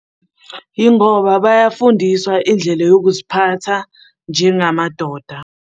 Yingoba bayafundiswa indlela yokuziphatha njengamadoda.